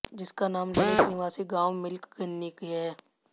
जिसका नाम ललित निवासी गांव मिल्क गन्नीकी है